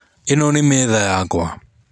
Ĩno nĩ metha yakwa